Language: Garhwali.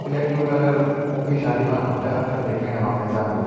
किले कि यु कलर ऊकी शादी मा हमथे अक्सर दिखेंण मा मिल जांदू।